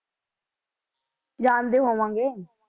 ਜਾਣਦੇ ਹੋਵਾਂਗੇ।